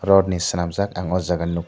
rod ni swnamjaak ang aw jaaga nug--